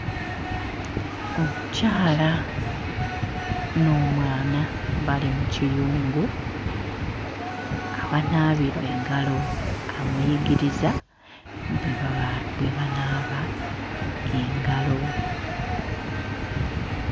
Omukyala n'omwana bali mu kiyungu awanaabirwa engalo, amuyigiriza bwe baba bwe banaaba engalo.